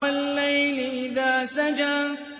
وَاللَّيْلِ إِذَا سَجَىٰ